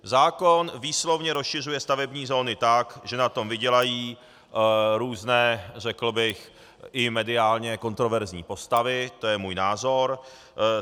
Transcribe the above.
Zákon výslovně rozšiřuje stavební zóny tak, že na tom vydělají různé, řekl bych, i mediálně kontroverzní postavy, to je můj názor.